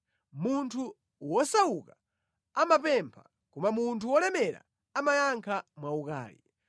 Munthu wosauka amapempha koma munthu wolemera amayankha mwaukali.